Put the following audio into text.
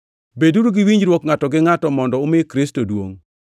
Beduru gi winjruok ngʼato gi ngʼato, mondo umi Kristo duongʼ.